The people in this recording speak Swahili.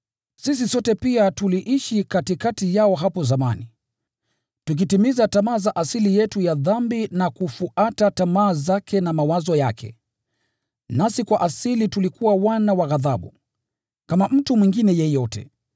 Sisi sote pia tuliishi katikati yao hapo zamani, tukitimiza tamaa za asili yetu ya dhambi na kufuata tamaa zake na mawazo yake. Nasi kwa asili tulikuwa wana wa ghadhabu, kama mtu mwingine yeyote.